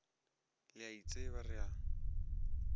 le a itseba re a